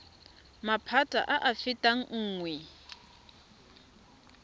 maphata a a fetang nngwe